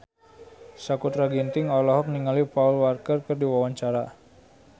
Sakutra Ginting olohok ningali Paul Walker keur diwawancara